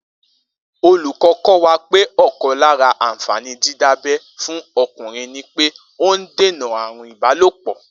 Olúko̩ kó̩ wa pé ò̩kan lára àǹfàní dídábẹ́ fún o̩kùnrin ni pé ó ń dènà àrùn ìbálòpò̩